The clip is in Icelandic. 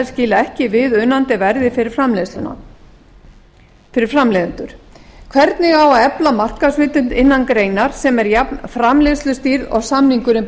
skila ekki viðunandi verði fyrir framleiðendur hvernig á að efla markaðshlutdeild innan greinar sem er jafnframleiðslustýrð og samningurinn